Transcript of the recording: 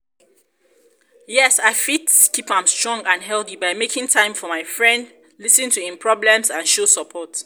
yes i fit keep am strong and healthy by making time for friend lis ten to im problems and show support.